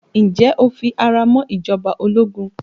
Ǹjẹ́ o fi ara mọ́ ìjọba ológun?